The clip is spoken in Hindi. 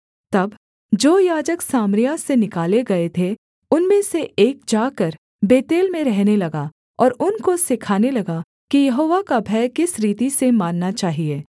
तब जो याजक सामरिया से निकाले गए थे उनमें से एक जाकर बेतेल में रहने लगा और उनको सिखाने लगा कि यहोवा का भय किस रीति से मानना चाहिये